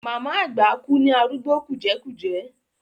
Màmá àgbà kú ní arúgbó kùjẹ́kùjẹ́.